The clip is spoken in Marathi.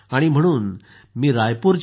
म्हणून मी रायपूरच्या डॉ